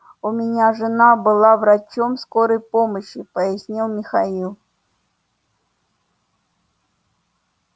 у меня жена была врачом скорой помощи пояснил михаил